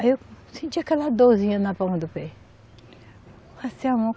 Aí eu senti aquela dorzinha na palma do pé. Passei a mão